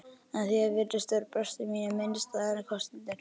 En þér virðist vera brestir mínir minnisstæðari en kostirnir.